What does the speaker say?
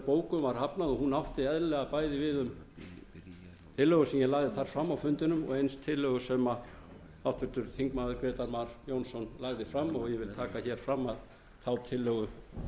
bókun var hafnað og hún átti eðlilega bæði við um tillögu sem ég lagði fram á fundinum og eins tillögu sem háttvirtur þingmaður grétar mar jónsson lagði fram og ég vil taka fram að þá tillögu